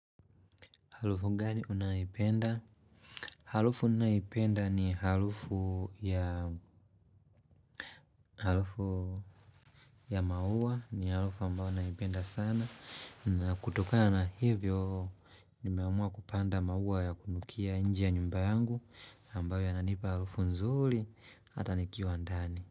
Harufu gani unayoipenda? Harufu ninayoipenda ni harufu ya harufu ya maua, ni harufu ambayo naipenda sana. Na kutokana hivyo, nimeamua kupanda maua ya kunukia nje ya nyumba yangu, ambao yananipa harufu nzuli, hata nikiwa ndani.